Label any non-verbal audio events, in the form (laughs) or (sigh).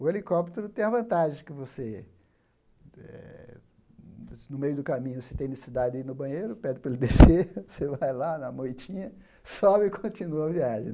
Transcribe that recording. O helicóptero tem a vantagem que você eh, no meio do caminho, se tem necessidade de ir no banheiro, pede para ele (laughs) descer, você vai lá na moitinha, sobe e continua a viagem.